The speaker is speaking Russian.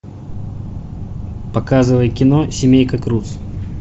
показывай кино семейка крудс